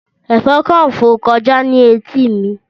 Ẹ̀fọn kan fò kọjá ní etí mi.